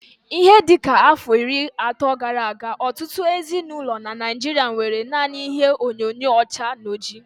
Ihe dịka afọ iri ato gara aga, ọtụtụ ezinaụlọ n'Naijiria nwéré nanị ihe onyinyo ọcha na ọjị